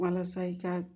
Walasa i ka